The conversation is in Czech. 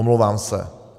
Omlouvám se.